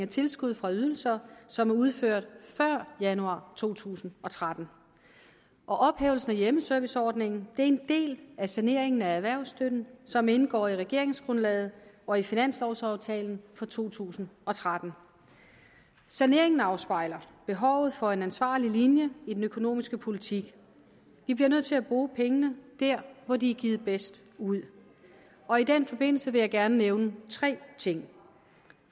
tilskud for ydelser som er udført før januar to tusind og tretten ophævelsen af hjemmeserviceordningen er en del af saneringen af erhvervsstøtten som indgår i regeringsgrundlaget og i finanslovaftalen for to tusind og tretten saneringen afspejler behovet for en ansvarlig linje i den økonomiske politik vi bliver nødt til at bruge pengene der hvor de er givet bedst ud og i den forbindelse vil jeg gerne nævne tre ting